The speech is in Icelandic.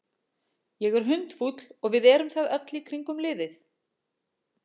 Ég er hundfúll og við erum það öll í kringum liðið.